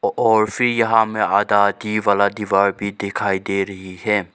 और फिर यहां हमें आधा आधी वाला दीवार भी दिखाई दे रही है।